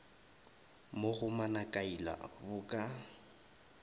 mo go manakaila bo ka